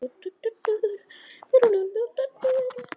Sama gildir um afnámu.